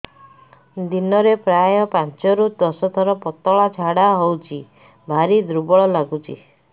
ଦିନରେ ପ୍ରାୟ ପାଞ୍ଚରୁ ଦଶ ଥର ପତଳା ଝାଡା ହଉଚି ଭାରି ଦୁର୍ବଳ ଲାଗୁଚି